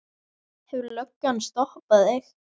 Hefur löggan stoppað þig?